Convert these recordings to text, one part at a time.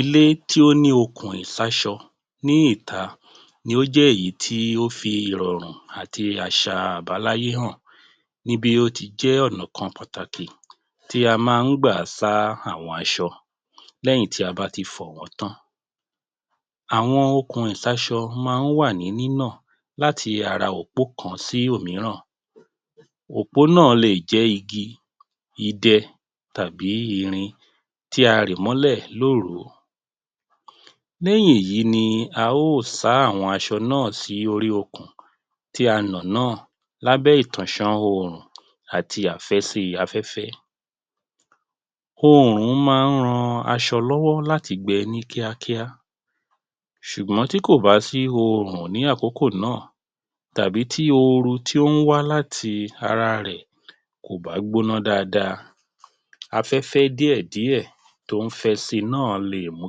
Ilé tí ó ní okùn ìsáṣọ ní ìta ní ó jẹ́ èyí tí ó fi rọrùn àti àṣà àbáláyé hàn ní bí ó ti jẹ́ ọ̀nà kan pàtàkì tí a máa ń gbà sá àwọn aṣọ lẹ́yìn tí a bá ti fọ̀ wọ́n tán. Àwọn okùn ìsáṣọ máa ń wà ní nínọ̀ láti ara òpó kan sí òmíràn. Òpó náà lè jẹ́ igi, idẹ tàbí irin tí a rì mọ́lẹ lóru. Lẹ́yìn èyí ni a ó sá àwọn aṣọ náà sí orí okùn tí a nà náà lábẹ́ ìtọ̀ṣọn oòrùn àti àfẹ́sí afẹ́fẹ́. Oòrùn máa ń ran aṣọ lọ́wọ́ láti gbẹ ní kíákíá ṣùgbọ́n tí kò bá sí oòrùn ní àkókò náà, tàbí tí oru tí ó ń wá láti ara rẹ̀ kò bá gbóná dáadáa, afẹ́fẹ́ díẹ̀ díẹ̀ tó ń fẹ́ si náà lè mu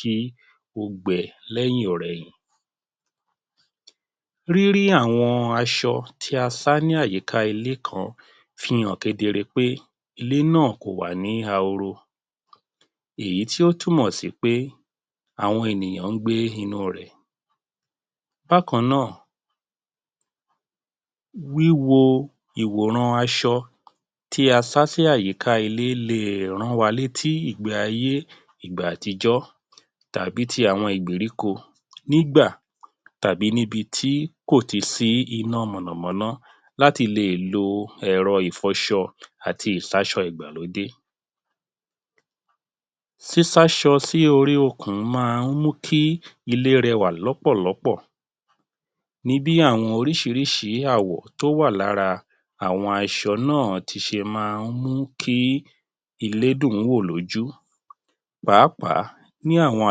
kí ó gbẹ lẹ́yìn-ọ̀-rẹyìn. Rírí àwọn aṣọ tí a sá ní àyíká ilé kan fi hàn kedere pé ilé náà kò wà ní ahoro èyí tí ó tún mọ̀ sí pé àwọn ènìyàn ń gbé inú rẹ̀. Bákan náà wíwo ìwòran aṣọ tí a sá sí àyíká ilé lè rán wa létí ìgbé ayé ìgbà àtijọ́ tàbí ti àwọn ìgbèríko nígbà, tàbí níbi tí kò tì sí iná mọ̀nà-mọ́ná láti lè lo ẹ̀rọ ìfọṣọ àti ìsáṣọ ìgbàlódé. Sísáṣọ sí orí okùn máa mú kí ilé rẹwà lọ́pọ̀ lọ́pọ̀ ní bí àwọn oríṣiríṣi àwọ̀ tó wà lára àwọn aṣọ náà ti ṣe máa ń mú kí ilé dùn ún wò lójú. Pàápàá ni àwọn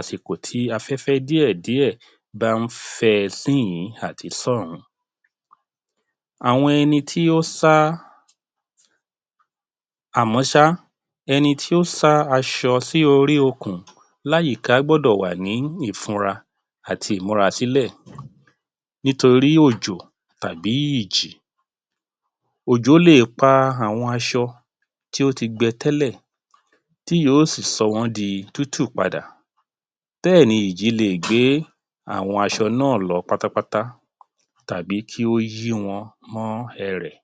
àsìkò tí afẹ́fẹ́ díẹ̀ díẹ̀ bá ń fẹ síìyín àti sọ́ọ̀hún. Àwọn ẹni tí ó sá àmọ́ sá ẹni tí ó sá aṣọ sí orí okùn láàyíká gbọ́dọ̀ wà ní ìfùnra àti ìmúra sí lẹ̀ nítorí òjò tàbí ìjì. Òjò le è pa àwọn aṣọ tí ó ti gbẹ tẹ́lẹ̀, tí yóò sì sọ wọ́n di tútù padà. Bẹ́ẹ̀ ni ìjì le è gbé àwọn aṣọ náà lọ pátápátá tàbí kí ó yí wọn mọ́ ẹrẹ̀.